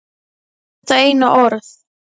Hún sagði bara þetta eina orð.